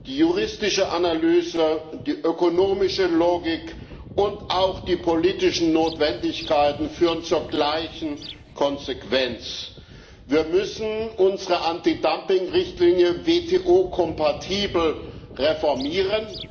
Die juristische Analyse, die ökonomische Logik und auch die politischen Notwendigkeiten führen zur gleichen Konsequenz Wir müssen unsere Antidumping Richtlinie WTO kompatibel reformieren